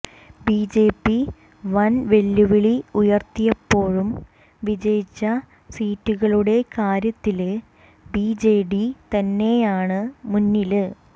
BJP വന് വെല്ലുവിളി ഉയര്ത്തിയപ്പോഴും വിജയിച്ച സീറ്റുകളുടെ കാര്യത്തില് ബിജെഡി തന്നെയാണ് മുന്നില്